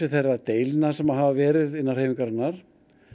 þeirra deilna sem hafa verið innan hreyfingarinnar